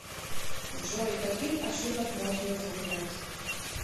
джой каких ошибок можно избежать